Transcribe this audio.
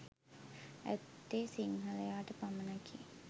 ඇත්තේ සිංහලයාට පමණකි.